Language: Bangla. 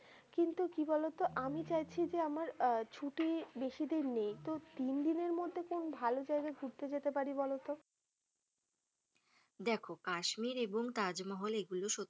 কিন্তু কি বলতো আমি চাইছি যে আমার আহ ছুটি বেশি দিন নেই তো তিন দিনের মধ্যে কোন ভালো জায়গায় ঘুরতে যেতে পারি বলতো। দেখো কাশ্মীর এবং তাজমহল এগুলো সত্যিই,